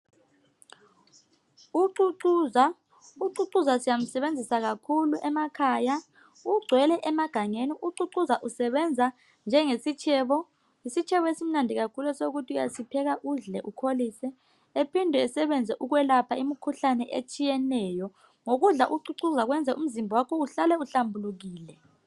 ucucuza ucucuza siyamsebenzisa kakhlu emakhaya ugcwele emagangeni ucucuza usebenza njengesitshebo esimnandi kakhulu ukuthi uyasipheka udle ukholise ephinde esebenze ukwelapha imkhuhlane etshiyeneyo ngokudla ucucuza kwenza umzimba wakho uhlale uhlambulukile